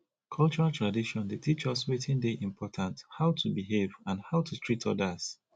cultural tradition dey teach us wetin dey important how to behave and how to treat odas